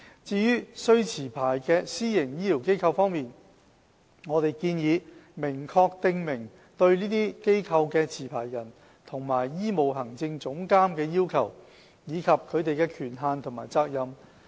至於須持牌的私營醫療機構方面，我們建議明確訂明對這些機構的持牌人和醫務行政總監的要求，以及他們的權限和責任。